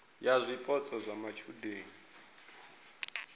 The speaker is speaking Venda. ya zwipotso zwa matshudeni a